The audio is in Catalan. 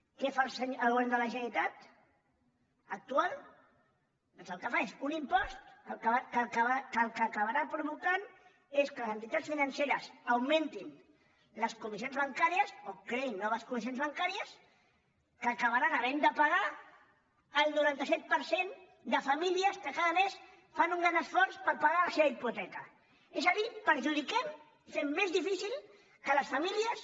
què fa el govern de la generalitat actual doncs el que fa és un impost que el que acabarà provocant és que les entitats financeres augmentin les comissions bancàries o creïn noves comissions bancàries que acabaran havent de pagar el noranta set per cent de famílies que cada mes fan un gran esforç per pagar la seva hipoteca és a dir perjudiquem fem més difícil que les famílies